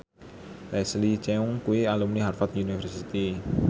Leslie Cheung kuwi alumni Harvard university